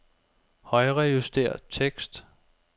Højrejuster tekst.